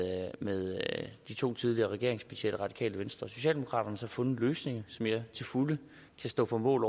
de to tidligere regeringspartier det radikale venstre og socialdemokraterne fundet en løsning som jeg til fulde kan stå på mål